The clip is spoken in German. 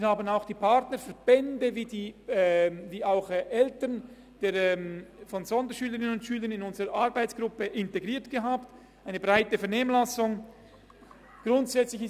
Wir haben die Partnerverbände wie auch die Eltern von Sonderschülerinnen und Sonderschülern in unsere Arbeitsgruppe integriert, und es hat eine breite Vernehmlassung stattgefunden.